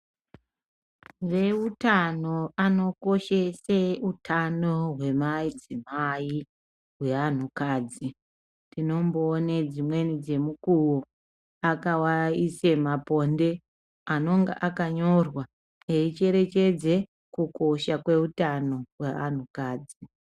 Veutano vanokoshese utano hwemadzimai hweanhukadzi. Tinomboona dzimwe dzemukuwo vakaise maponde anenge akanyorwa eicherechedza kukosha kweutano hweantukadzi.